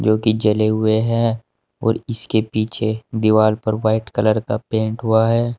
जो की जले हुए हैं और इसके पीछे दीवाल पर वाइट कलर का पेंट हुआ है।